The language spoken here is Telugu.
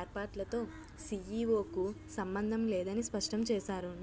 ఏర్పాట్లతో సీఈఓకు సంబంధం లేదని స్పష్టం చేశారు